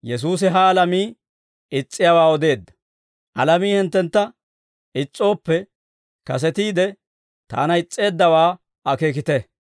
«Alamii hinttentta is's'ooppe, kasetiide Taana is's'eeddawaa akeekite.